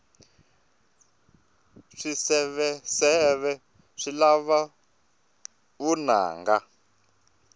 swiseveseve swi lava vunanga